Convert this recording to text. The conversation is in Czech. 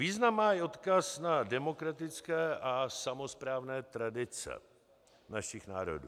Význam má i odkaz na demokratické a samosprávné tradice našich národů.